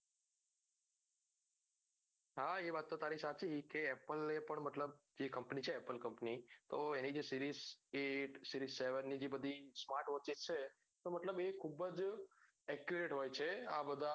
હા એ વાત તો તારી સાચી કે apple એ પણ મતલબ છે તો એની જે series eightseries seven જે બધી smart watch છે તો મતલબ એ ખુબજ accuret હોય છે